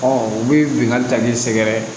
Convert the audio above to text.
u bɛ bingani ta ni sɛgɛrɛ ye